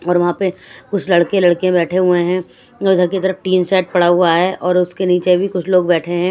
और वहाँ पे कुछ लड़के लड़कियां बैठे हुए हैं इधर की तरफ टीन सेट पड़ा हुआ है और उसके नीचे भी कुछ लोग बैठे हैं।